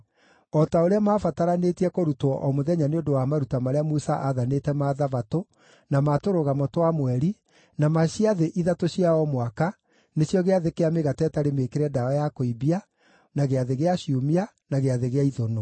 O ta ũrĩa maabataranĩtie kũrutwo o mũthenya nĩ ũndũ wa maruta marĩa Musa aathanĩte ma Thabatũ, na ma Tũrũgamo twa Mweri, na ma ciathĩ ithatũ cia o mwaka, nĩcio Gĩathĩ kĩa Mĩgate ĩtarĩ Mĩĩkĩre Ndawa ya Kũimbia, na Gĩathĩ gĩa Ciumia, na Gĩathĩ gĩa Ithũnũ.